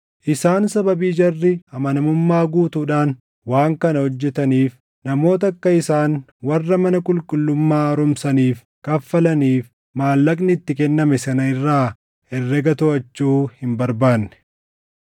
Isaan sababii jarri amanamummaa guutuudhaan waan kana hojjetaniif namoota akka isaan warra mana qulqullummaa haaromsaniif kaffalaniif maallaqni itti kenname sana irraa herrega toʼachuu hin barbaanne.